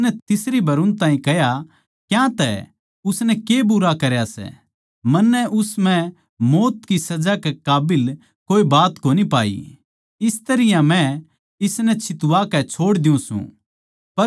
उसनै तीसरी बर उन ताहीं कह्या क्यांतै उसनै के बुरा करया सै मन्नै उस म्ह मौत की सजा के काबिल कोए बात कोनी पाई इस तरियां मै इसनै छित्वा कै छोड़ देऊ सूं